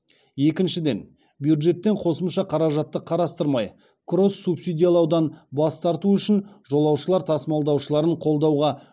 екіншіден бюджеттен қосымша қаражатты қарастырмай кросс субсидиялаудан бас тарту үшін жолаушылар тасымалдаушыларын қолдауға